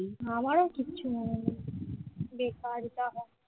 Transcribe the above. আমারও কিছু মনে নেই। বেকার যাওয়া